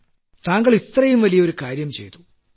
പ്രധാനമന്ത്രി താങ്കൾ ഇത്രയും വലിയ ഒരു കാര്യം ചെയ്തു